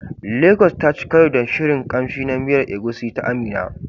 Lagos taci karo da shirin kamshi na miyar Egusi ta Amina.